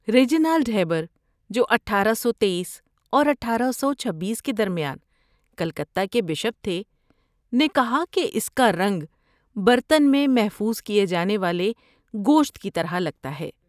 Reginald Heber, جو اٹھارہ سو تٔیس اور اٹھارہ سو چھبیس کے درمیان کلکتہ کے بشپ تھے، نے کہا کہ اس کا رنگ برتن میں محفوظ کیے جانے والے گوشت کی طرح لگتا ہے